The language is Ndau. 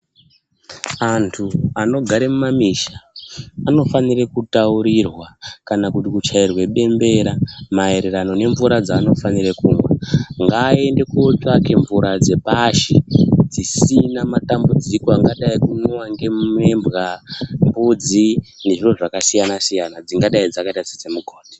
Anthu anogare mumamisha anofanira kutaurirwa kana kuti kuchairwa bembera maererano nemvura dzevanofanira kumwa ngaaende kootsvake mvura dzepashi dzisina matambudziko akadai ngekumwiwa ngembwa, mbudzi ngezviro zvakasiyana-siyana dzingadai dzakaita sedzemugodhi.